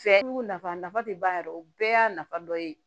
Fɛɛrɛ jugu nafa nafa te ban yɛrɛ o bɛɛ y'a nafa dɔ ye